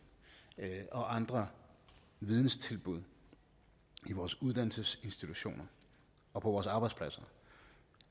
og andre videnstilbud i uddannelsesinstitutioner og på arbejdspladser